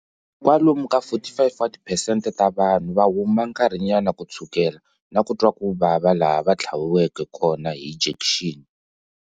Kwalomu ka 45 wa tiphesente ta vanhu va huma nkarhinyana ku tshukela na ku twa ku vava laha va tlhaviveko kona hi jekixini.